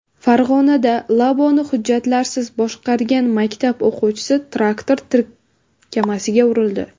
Farg‘onada Labo‘ni hujjatlarsiz boshqargan maktab o‘quvchisi traktor tirkamasiga urildi.